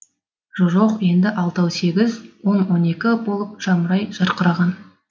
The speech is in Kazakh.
жо жоқ енді алтау сегіз он он екі болып жамырай жарқыраған